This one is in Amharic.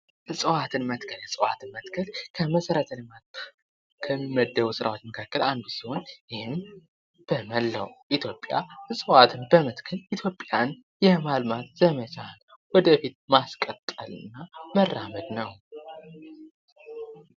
እፅዋትን መትከል:- እፅዋትን መትከል ከመሰረተ ልማት ከሚመደቡ ስራዎች መካከል አንዱ ሲሆን ይህም በመላዉ ኢትዮጵያ እፅዋትን በመትከል ኢትዮጵያን የማልማት ዘመቻ ወደ ፊት ማስቀጠል እና ማራመድ ነዉ።